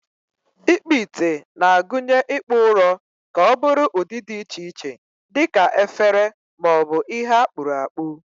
Ikpu ite na-agụnye ịkpụ ụrọ ka ọ bụrụ ụdị dị iche iche dị ka efere ma ọ bụ ihe akpuru akpu.